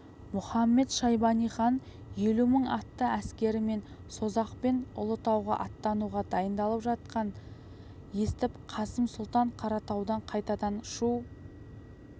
мұхамед-шайбани хан елу мың атты әскерімен созақ пен ұлытауға аттануға дайындалып жатқанын естіп қасым сұлтан қаратаудан қайтадан шу